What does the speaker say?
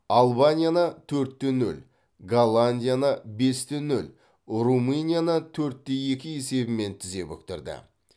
албанияны төрт те нөл голландияны бес те нөл румынияны төрт те екі есебімен тізе бүктірді